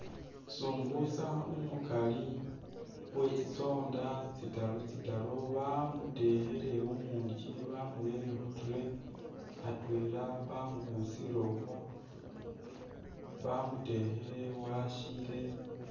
Sumbusa umukali uwe tsisonda tsitaru tsitaru bamutekhile umuungi bamurere khu tray atwela bamubusiile ukhwo bamutekhile washiile.